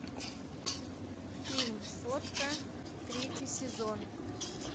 фильм сотка третий сезон